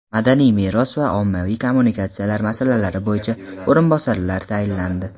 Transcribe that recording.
madaniy meros va ommaviy kommunikatsiyalar masalalari bo‘yicha o‘rinbosarlar tayinlandi.